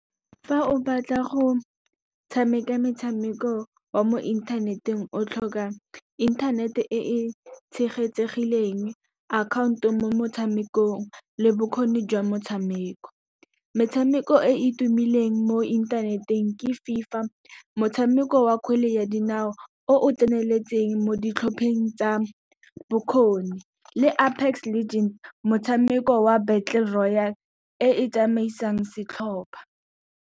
Fa o batla go tshameka metshameko wa mo inthaneteng, o tlhoka inthanete e tshegetsegileng, akhaonto mo motshamekong le bokgoni jwa motshameko. Metshameko e e tumileng mo inthaneteng ke FIFA motshameko wa kgwele ya dinao, o o tseneletseng mo ditlhopheng tsa bokgoni. Le Apex Legend, motshameko wa Battle Royal e e tsamaisang setlhopha.